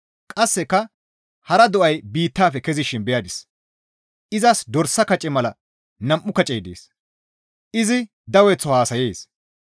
Qasseka hara do7ay biittafe kezishin beyadis; izas dorsa kace mala nam7u kacey dees; izi daweththo haasayees.